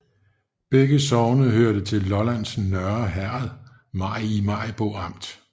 Begge sogne hørte til Lollands Nørre Herred i Maribo Amt